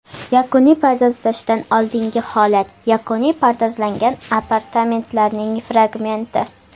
Yakuniy pardozlashdan oldingi holat: Yakuniy pardozlangan apartamentlarning fragmenti.